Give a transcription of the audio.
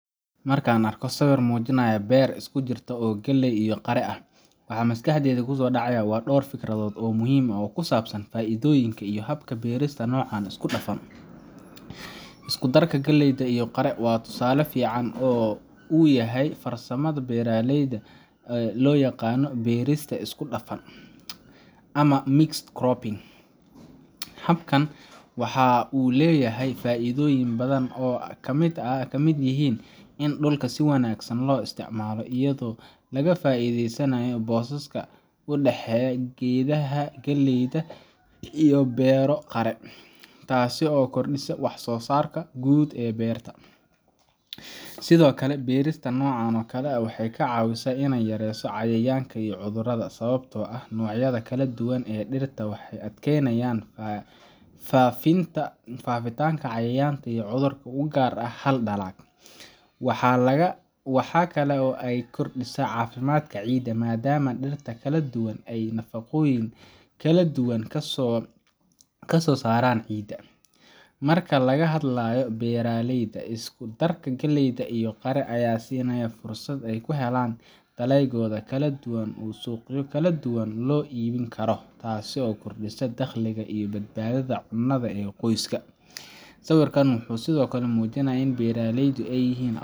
Marka aan arko sawir muujinaya beer isku jirta oo galley iyo qare ah, waxa maskaxdayda ku soo dhacaya dhowr fikradood oo muhiim ah oo ku saabsan faa’iidooyinka iyo habka beerista noocan isku dhafan. Isku darka galleyda iyo qare waxa uu tusaale fiican u yahay farsamada beeralayda ee loo yaqaan beerista isku dhafan ama mixed cropping Habkan waxa uu leeyahay faa’iidooyin badan oo ay ka mid yihiin in dhulka si wanaagsan loo isticmaalo, iyadoo laga faa’iidaysanayo booska u dhexeeya geedaha galleyda si loo beero qare, taas oo kordhisa wax-soo-saarka guud ee beerta. Sidoo kale, beerista noocan waxay ka caawisaa in la yareeyo cayayaanka iyo cudurrada, sababtoo ah noocyada kala duwan ee dhirta waxay adkeynayaan faafitaanka cayayaanka iyo cudurrada u gaarka ah hal dalag. Waxa kale oo ay kordhisaa caafimaadka ciidda, maadaama dhirta kala duwan ay nafaqooyin kala duwan ka soo saaraan ciidda. Marka laga hadlayo beeralayda, isku darka galleyda iyo qare ayaa siinaya fursad ay ku helaan dalagyo kala duwan oo suuqyo kala duwan loo iibin karo, taasoo kordhisa dakhliga iyo badbaadada cunnada ee qoyska. Sawirkan wuxuu sidoo kale muujinayaa in beeraleydu ay yihin